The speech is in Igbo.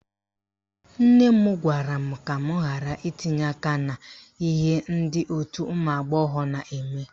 Nne m gwara m ka m ghara itinye aka n'ihe ndị òtù ụmụagbọghọ na-eme